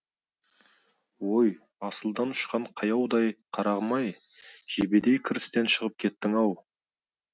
ой асылдан ұшқан қаяудай қарағым ай жебедей кірістен шығып кеттің ау